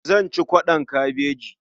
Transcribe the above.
Zan ci kwaɗon kabeji.